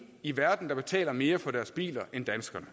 i verden der betaler mere for deres biler end danskerne